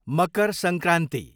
Makar Sankranti